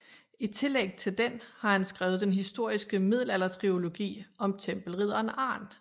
I tillæg til den har han skrevet den historiske middelaldertrilogi om tempelridderen Arn